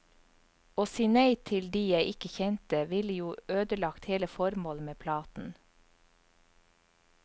Å si nei til de jeg ikke kjente, ville jo ødelagt hele formålet med platen.